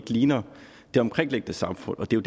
ligner det omkringliggende samfund og det er